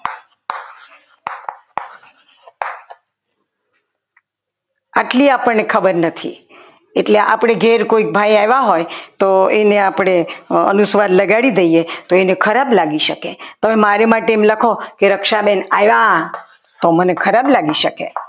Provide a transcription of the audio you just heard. આટલી આપણને ખબર નથી એટલે આપણે ઘેર કોઈ ભાઈ આવ્યા હોય તો એને આપણે અનુસ્વાર લગાડી દઈએ તો એને ખરાબ લાગી શકે તો મારી માટે એમ લખો કે રક્ષાબેન આવ્યા તો મને ખરાબ લાગી શકે.